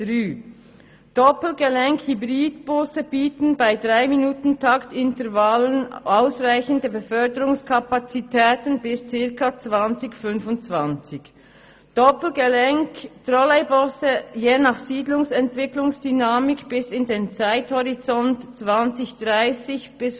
«Doppelgelenk-Hybridbusse 3-MinutenTaktintervallen ausreichende Beförderungskapazitäten bis ca. 2025, Doppelgelenk-Trolleybusse je nach Siedlungsentwicklungsdynamik bis in den Zeithorizont 2030/2035.»